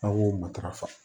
Aw k'o matarafa